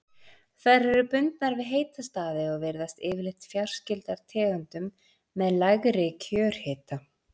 Þær eru bundnar við heita staði og virðast yfirleitt fjarskyldar tegundum með lægri kjörhita.